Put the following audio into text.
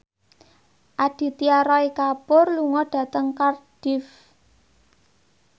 Aditya Roy Kapoor lunga dhateng Cardiff